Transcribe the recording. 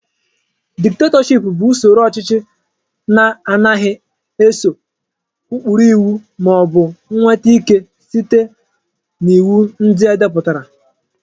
Dịkatọship bụ usoro ọchịchị na-anaghị eso ụkpụrụ iwu maọbụ nweta ị́ké sita n'iwu ndị edepụtara.